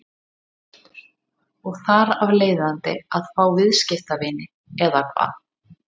Hjörtur: Og þar af leiðandi að fá viðskiptavini eða hvað?